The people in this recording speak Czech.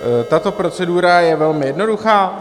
Tato procedura je velmi jednoduchá.